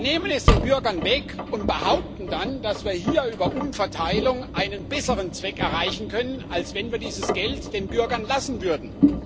Wir nehmen es den Bürgern weg und behaupten dann, dass wir hier über Umverteilung einen besseren Zweck erreichen können, als wenn wir dieses Geld den Bürgern lassen würden.